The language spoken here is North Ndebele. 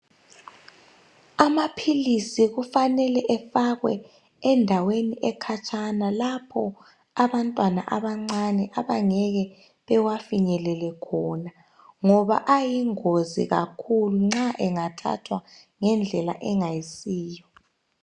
Amaphilisi kufanele efakwe endaweni ekhatshana lapho abantwana abancane abangeke bewafinyelele khona ngoba ayingozi kakhulu nxa engathathwa ngendlela engayisiyo